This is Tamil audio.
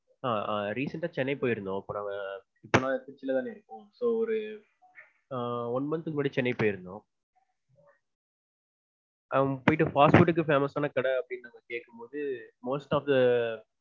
ஆஹ் ஆஹ் recent ஆ சென்னை போயிருந்தோம். அப்போ நாங்க திருச்சிலதான இருந்தோம். so ஒரு one month க்கு முன்னாடி சென்னை போயிருந்தோம். போய்ட்டு fast food க்கு famous ஆன கடை அப்டீன்னு கேக்கும்போது most of the